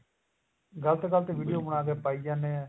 ਗਲਤ ਗਲਤ video ਬਣਾ ਕੇ ਪਾਈ ਜਾਣੇ ਆ